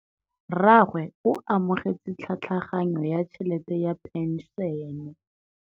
Rragwe o amogetse tlhatlhaganyô ya tšhelête ya phenšene.